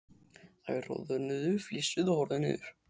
Þær roðnuðu, flissuðu og horfðu niður.